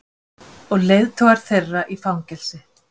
Og leiðtogar þeirra í fangelsi.